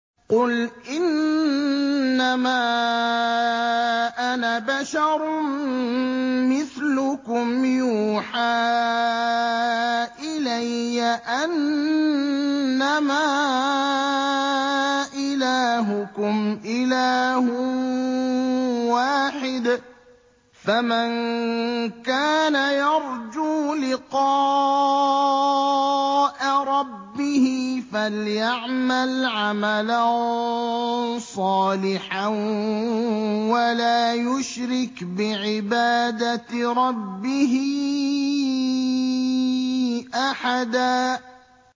قُلْ إِنَّمَا أَنَا بَشَرٌ مِّثْلُكُمْ يُوحَىٰ إِلَيَّ أَنَّمَا إِلَٰهُكُمْ إِلَٰهٌ وَاحِدٌ ۖ فَمَن كَانَ يَرْجُو لِقَاءَ رَبِّهِ فَلْيَعْمَلْ عَمَلًا صَالِحًا وَلَا يُشْرِكْ بِعِبَادَةِ رَبِّهِ أَحَدًا